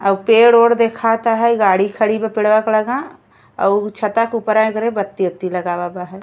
अउ पेड़-ओड देखता हई। गाड़ी खड़ी बा पेड़वा के लगां अउ उ छता के ऊपरा एकरे बती- ओत्ती लगावा बा है।